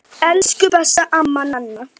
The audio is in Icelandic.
Elsku besta amma Nanna.